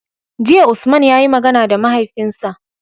Jiya Usman yayi magana da mahaifinsa